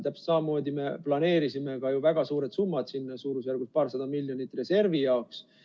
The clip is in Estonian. Täpselt samamoodi, me planeerisime sinna ju väga suured summad suurusjärgus paarsada miljonit reservi jaoks.